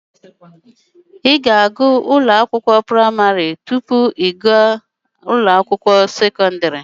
Ị ga-aga ụlọ akwụkwọ praimarị tụpụ ị gaa ụlọ akwụkwọ sekọndrị